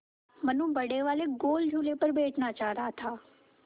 मनु बड़े वाले गोल झूले पर बैठना चाह रहा था